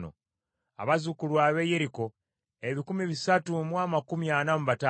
abazzukulu ab’e Yeriko ebikumi bisatu mu amakumi ana mu bataano (345),